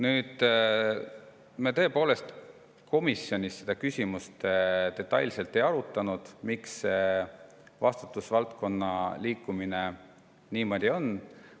Aga me tõepoolest komisjonis detailselt ei arutanud, miks see vastutusvaldkonna liikumine niimoodi on.